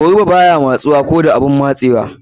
Goruba baya matsuwa ko da abun matsewa.